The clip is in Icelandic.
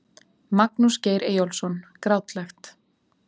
Magnús Geir Eyjólfsson Grátlegt.